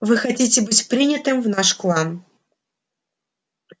вы хотите быть принятым в наш клан